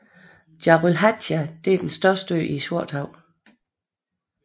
Dzjarylhatj er den største ø i Sortehavet